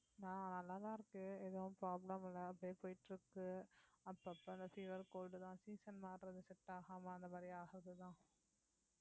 நான் நல்லாதான் இருக்கு எதுவும் problem இல்லை அப்படியே போயிட்டு இருக்கு அப்பப்ப அந்த fever cold தான் season மாறுறது set ஆகாம அந்த மாதிரி ஆகுறதுதான்